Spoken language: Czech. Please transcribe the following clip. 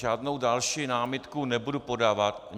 Žádnou další námitku nebudu podávat.